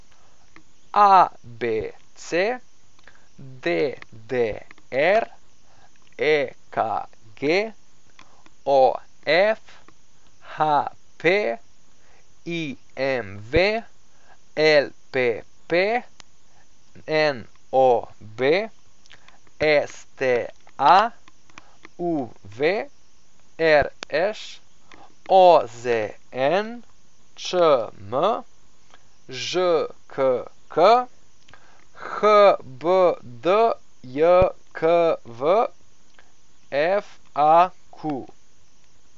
ABC, DDR, EKG, OF, HP, IMV, LPP, NOB, STA, UV, RŠ, OZN, ČM, ŽKK, HBDJKV, FAQ.